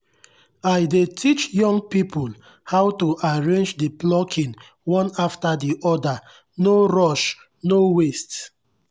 i dey teach young people how to arrange the plucking one after the other no rush-no waste.